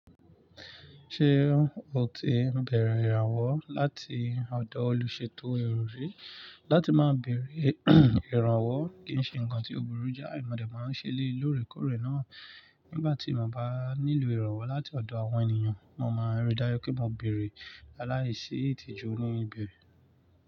Ṣé o ti bẹ̀rẹ̀ ìrànwọ́ láti ọ̀dọ̀ olùṣètò ero rí? Láti máa bẹ̀rẹ̀ ìrànwọ́ kì í ṣe ǹkan tí ò burú jái, mọ̀ dẹ máa ń ṣe eléyii lóòrèkóòrè náà. Nígbà tí mọ̀ bá nílò ìrànwọ́ láti ọ̀dọ̀ àwọn ènìyàn, mo máa ń ri dájú pé mo beẹ̀rẹ̀ láláìsí ìtìjú ní ibẹ̀.